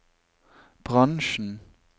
bransjen